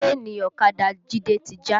Síènì ọ̀kadà Jide ti já